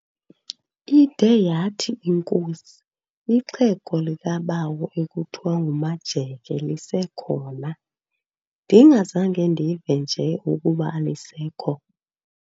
Ide yathi inkosi, "Ixhego likabawo ekuthiwa nguMajeke lisekhona, ndingazange ndive nje ukuba alisekho?"